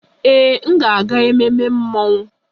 Ee, m ga-aga ememme mmọnwụ